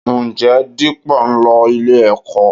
Ǹjẹ́ Dípọ̀ ń lọ ilé-ẹ̀kọ́?